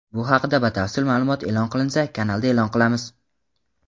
Bu haqida batafsil ma’lumot e’lon qilinsa kanalda e’lon qilamiz.